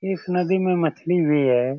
इख नदी में मछली भी है।